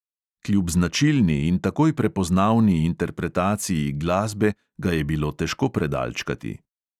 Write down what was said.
Kljub značilni in takoj prepoznavni interpretaciji glasbe ga je bilo težko predalčkati.